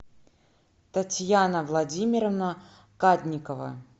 татьяна владимировна кадникова